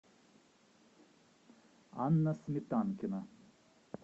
анна сметанкина